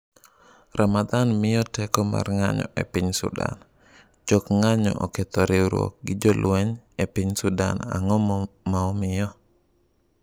Ramadhan ‘miyo’ teko mar ng’anjo e piny Sudan Jok ng’anjo oketho riwruok gi jolweny e piny Sudan Ang’o ma omiyo?